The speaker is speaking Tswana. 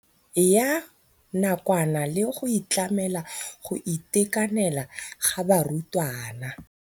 Ya nakwana le go tlamela go itekanela ga barutwana.